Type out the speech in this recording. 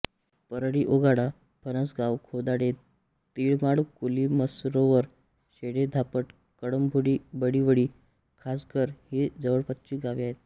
परळी ओगाडा फणसगाव खोदाडे तिळमाळ कोलीमसरोवर शेळे धापड कळंभोळी बाळिवळी कासघर ही जवळपासची गावे आहेत